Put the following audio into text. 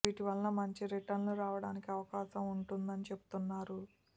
వీటి వల్ల మంచి రిటర్న్ లు రావడానికి అవకాశం ఉంటుందని చెబుతున్నారు